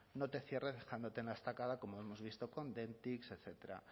no te cierre dejándote en la estacada como hemos visto con dentix etcétera